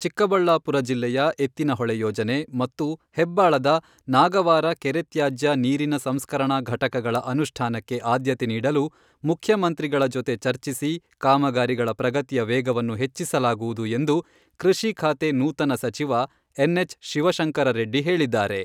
ಚಿಕ್ಕಬಳ್ಳಾಪುರ ಜಿಲ್ಲೆಯ ಎತ್ತಿನಹೊಳೆ ಯೋಜನೆ ಮತ್ತು ಹೆಬ್ಬಾಳದ ನಾಗವಾರ ಕೆರೆ ತ್ಯಾಜ್ಯ ನೀರಿನ ಸಂಸ್ಕರಣಾ ಘಟಕಗಳ ಅನುಷ್ಠಾನಕ್ಕೆ ಆದ್ಯತೆ ನೀಡಲು ಮುಖ್ಯಮಂತ್ರಿಗಳ ಜೊತೆ ಚರ್ಚಿಸಿ, ಕಾಮಗಾರಿಗಳ ಪ್ರಗತಿಯ ವೇಗವನ್ನು ಹೆಚ್ಚಿಸಲಾಗುವುದು ಎಂದು ಕೃಷಿ ಖಾತೆ ನೂತನ ಸಚಿವ ಎನ್.ಎಚ್.ಶಿವಶಂಕರ ರೆಡ್ಡಿ ಹೇಳಿದ್ದಾರೆ.